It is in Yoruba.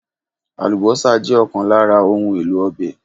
Àlùbọ́sà jẹ́ ọ̀kan lára òun èlò ọbẹ̀